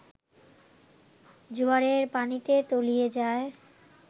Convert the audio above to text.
জোয়ারের পানিতে তলিয়ে যায়